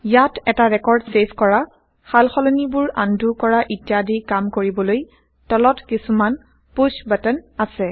ইয়াত160এটা record save কৰা সালসলনিবোৰ undo কৰা ইত্যাদি কাম কৰিবলৈ তলত কিছুমান পুশ বাটন আছে